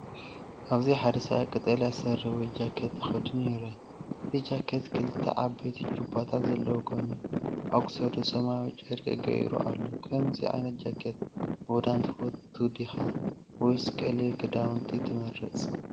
ኣብዚሓደ ሰብኣይ ቀጠልያ ስረ ወይ ጃኬት ተኸዲኑ ይርአ። እቲ ጃኬት ክልተ ዓበይቲ ጁባታት ዘለዎ ኮይኑ፡ ኣብ ክሳዱ ሰማያዊ ጨርቂ ገይሩ ኣሎ። ከምዚ ዓይነት ጃኬት ምኽዳን ትፈቱ ዲኻ? ወይስ ቀሊል ክዳውንቲ ትመርጽ?